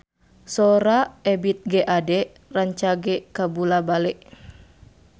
Sora Ebith G. Ade rancage kabula-bale